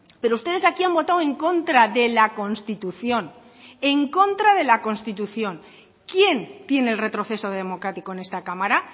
pero ustedes aquí han votado en contra de la constitución en contra de la constitución quién tiene el retroceso democrático en esta cámara